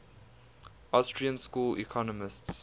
austrian school economists